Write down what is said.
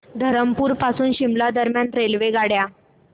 धरमपुर पासून शिमला दरम्यान रेल्वेगाड्या